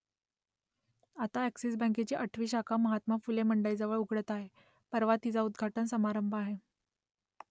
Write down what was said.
आता अ‍ॅक्सिस बँकेची आठवी शाखा महात्मा फुले मंडईजवळ उघडत आहे परवा तिचा उद्घाटन समारंभ आहे